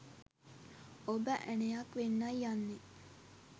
ඔබ ඇණයක් වෙන්නයි යන්නේ